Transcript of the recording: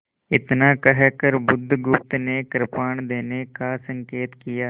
इतना कहकर बुधगुप्त ने कृपाण देने का संकेत किया